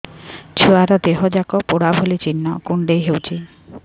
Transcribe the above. ଛୁଆର ଦିହ ଯାକ ପୋଡା ଭଳି ଚି଼ହ୍ନ କୁଣ୍ଡେଇ ହଉଛି